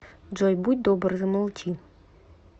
джой будь добр замолчи